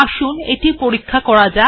আসুন এটি পরীক্ষা করা যাক